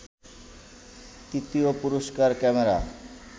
তৃতীয় পুরস্কার ক্যামেরা